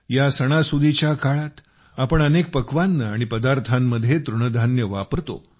या सणासुदीच्या काळात आपण अनेक पक्वान्न आणि पदार्थांमध्ये तृणधान्ये वापरतो